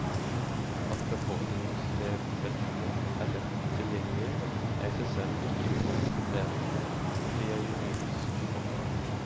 At befordringsvedtektene er lett tilgjengelig, er i seg selv ikke noe kriterium på at de er juridisk holdbare.